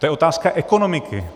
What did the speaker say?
To je otázka ekonomiky.